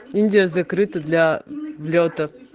индия закрыта для влётов